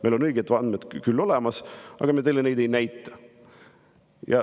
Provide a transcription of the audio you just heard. Meil on õiged andmed küll olemas, aga me teile neid ei näita.